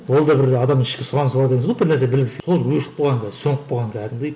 ол да бір адамның ішкі сұранысы бар деген сөз ғой бір нәрсе сол өшіп қалған қазір сөніп қалған кәдімгідей